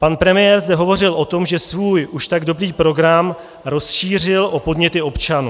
Pan premiér zde hovořil o tom, že svůj už tak dobrý program rozšířil o podněty občanů.